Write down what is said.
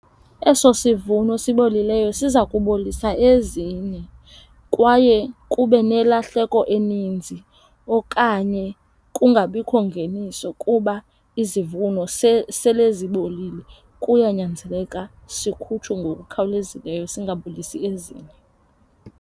Eso sivuno sibolileyo siza kubolisa ezinye kwaye kube nelahleko eninzi okanye kungabikho ngeniso kuba izivuno sele zibolile. Kuyanyanzeleka sikhutshwe ngokukhawulezileyo singabolisi ezinye.